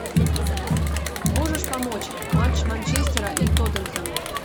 можешь помочь матч манчестера и тоттенхэма